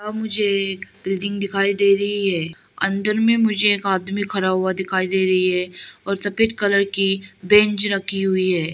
मुझे एक बिल्डिंग दिखाई दे रही है अंदर में मुझे एक आदमी खड़ा हुआ दिखाई दे रही है और सफेद कलर की बेंच रखी हुई है।